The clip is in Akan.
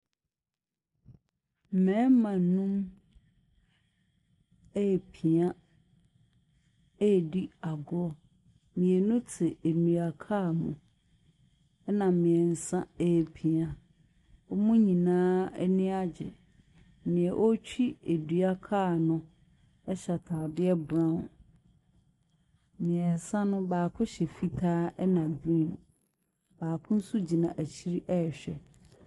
Mmarima no repia redi agorɔ. Mmienu te nnuakaa mu ɛna mmiɛnsa repia. Wɔn nyinaa ani agye. Nea ɔretwi duakaa no hyɛ ataadeɛ brown. Mmiɛnsa no baako hyɛ fitaa ɛna green. Baako nso gyina akyire rehwɛ.